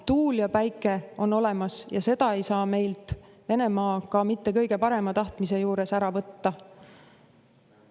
Tuul ja päike on olemas ja seda ei saa meilt Venemaa ka mitte kõige parema tahtmise juures ära võtta.